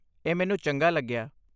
ਇਹ ਮੈਨੂੰ ਚੰਗਾ ਲੱਗਿਆ।